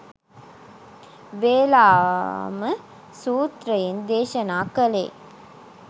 වේලාම සූත්‍රයෙන් දේශනා කළේ